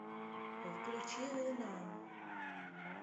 включи луна